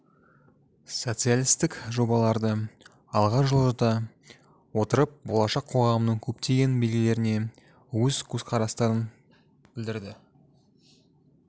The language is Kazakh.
социалистік жобаларды алға жылжыта отырып болашақ қоғамның көптеген белгілеріне өз көзқарастарын білдірді